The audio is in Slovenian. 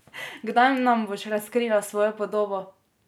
Kdaj nam boš razkrila svojo podobo?